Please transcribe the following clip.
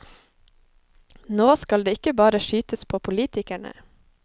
Nå skal det ikke bare skytes på politikerne.